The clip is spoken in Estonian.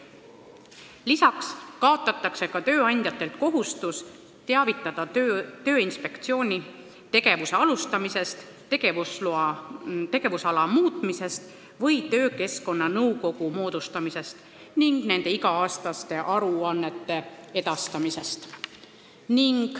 Peale selle kaotatakse tööandjate kohustus teavitada Tööinspektsiooni tegevuse alustamisest, tegevusala muutmisest või töökeskkonnanõukogu moodustamisest ning selle iga-aastaste aruannete edastamisest.